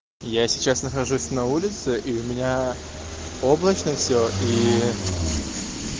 я сейчас нахожусь на улице и у меня облачно всё и